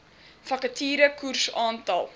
vakature koers aantal